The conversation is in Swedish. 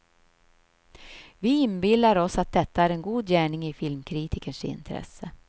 Vi inbillar oss att detta är en god gärning i filmkritikens intresse.